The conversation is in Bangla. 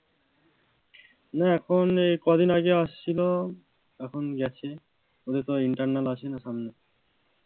না এখন এই ক দিন আগে আসছিল, এখন গেছে, ওদের তো internal আছে,